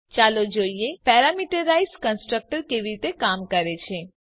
ચાલો જોઈએ parameterise constructor કેવી રીતે કામ કરે છે